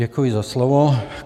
Děkuji za slovo.